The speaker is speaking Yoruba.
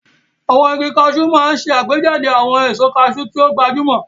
Àwọn igi Cashew máa ń ṣe àgbéjáde àwọn èso cashew tí ó gbajúmọ̀.